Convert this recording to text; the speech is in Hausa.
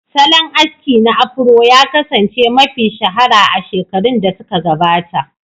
Salon aski na Afuro ya kasance mafi shahara a shekarun da suka gabata.